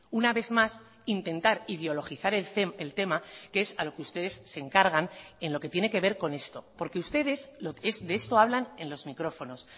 una vez más intentar ideologizar el tema que es a lo que ustedes se encargan en lo que tiene que ver con esto porque ustedes de esto hablan en los micrófonos